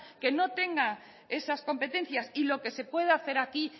que no tenga esas competencias y lo que se pueda hacer aquí